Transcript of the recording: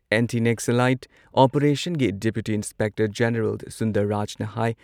anti Naxalite ꯑꯣꯄꯔꯦꯁꯟꯒꯤ deputy inspector general, Sundar Rajan ꯍꯥꯏ